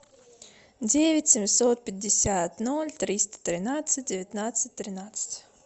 девять семьсот пятьдесят ноль триста тринадцать девятнадцать тринадцать